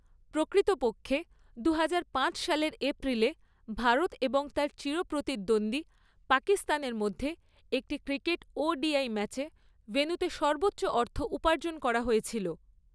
প্রকৃতপক্ষে, দুহাজার পাঁচ সালের এপ্রিলে ভারত এবং তার চির প্রতিদ্বন্দ্বী পাকিস্তানের মধ্যে একটি ক্রিকেট ওডিআই ম্যাচে ভেন্যুতে সর্বোচ্চ অর্থ উপার্জন করা হয়েছিল।